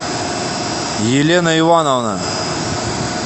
елена ивановна